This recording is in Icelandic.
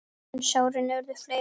En sárin urðu fleiri.